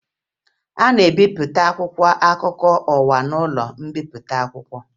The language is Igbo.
A na-ebipụta akwụkwọ akụkọ ụwa n'ụlọ mbipụta akwụkwọ